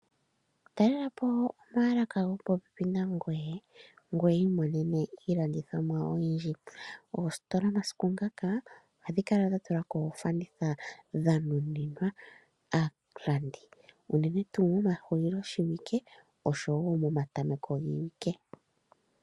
Talelapo omaalaka gopopepi nangoye ngoye wu imonene iilandithomwa oyindji. Oositola omasiku ngaka ohadhi kala dha tula mo oofanditha dha nuninwa aalandi unene tuu momahuliloshiwike osho wo omatameko giiwike.